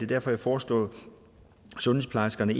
derfor jeg foreslår sundhedsplejerskerne